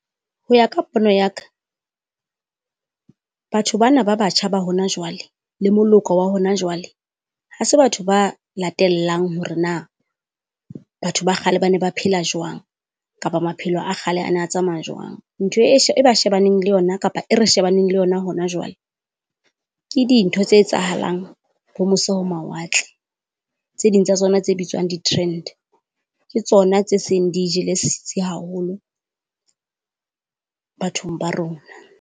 Ho ya ka pono ya ka, batho bana ba batjha ba hona jwale le moloko wa hona jwale, ha se batho ba latellang hore na batho ba kgale ba na ba phela jwang. Kapa maphelo a kgale a na a tsamaya jwang. Ntho e e ba shebaneng le yona kapa e re shebaneng le yona hona jwale ke dintho tse etsahalang ho mose ho mawatle. Tse ding tsa tsona tse bitswang di-trend ke tsona tse seng di jele setsi haholo bathong ba rona.